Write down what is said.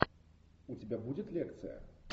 у тебя будет лекция